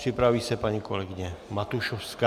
Připraví se paní kolegyně Matušovská.